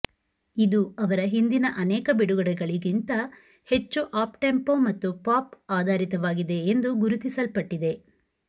ಇದು ಅವರ ಹಿಂದಿನ ಅನೇಕ ಬಿಡುಗಡೆಗಳಿಗಿಂತ ಹೆಚ್ಚು ಅಪ್ಟೆಂಪೊ ಮತ್ತು ಪಾಪ್ ಆಧಾರಿತವಾಗಿದೆ ಎಂದು ಗುರುತಿಸಲ್ಪಟ್ಟಿದೆ